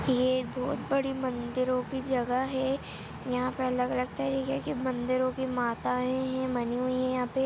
ये बहोत बड़ी मंदिरों की जगह है यहाँ पर अलग-अलग तरीके की मंदिरों की माताएँ है बनी हुई है यहाँ पे।